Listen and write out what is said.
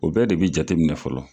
O bɛɛ de bi jateminɛ fɔlɔ